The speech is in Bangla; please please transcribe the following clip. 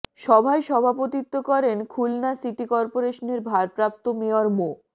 সভায় সভাপতিত্ব করেন খুলনা সিটি করপোরেশনের ভারপ্রাপ্ত মেয়র মো